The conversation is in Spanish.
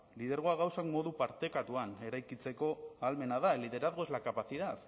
lidergoa gauzak modu partekatuan eraikitzeko ahalmena da el liderazgo es la capacidad